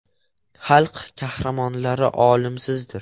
Xalq qahramonlari o‘limsizdir”.